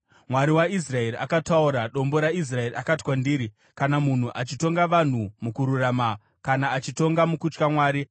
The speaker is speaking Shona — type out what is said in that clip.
Mwari waIsraeri akataura, Dombo raIsraeri akati kwandiri: ‘Kana munhu achitonga vanhu mukururama, kana achitonga mukutya Mwari,